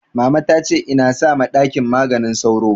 Mama ta ce in sa ma ɗaki maganin sauro